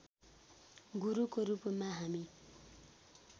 गुरुको रूपमा हामी